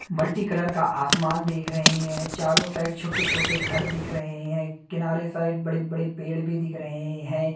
Multicolour का आसमान देख रहे हैं चारों साइड छोटे-छोटे घर दिख रहे हैं किनारे साइड बड़े-बड़े पेड़ भी दिख रहे है।